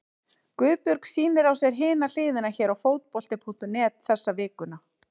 Guðbjörg sýnir á sér Hina hliðina hér á Fótbolti.net þessa vikuna.